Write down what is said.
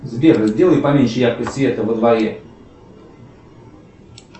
сбер сделай поменьше яркость света во дворе